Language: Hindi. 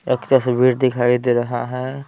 एक तस्वीर दिखाई दे रहा है।